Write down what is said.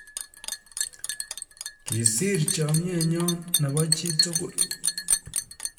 Kisiir chamnyen nyoo nebo chii tugul